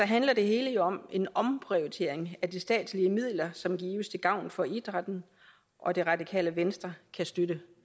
handler det hele jo om en omprioritering af de statslige midler som gives til gavn for idrætten og det radikale venstre kan støtte